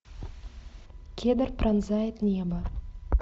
кедр пронзает небо